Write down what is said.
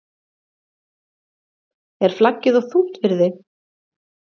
Er flaggið of þungt fyrir þig???